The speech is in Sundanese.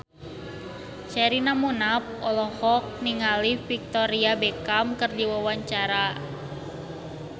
Sherina Munaf olohok ningali Victoria Beckham keur diwawancara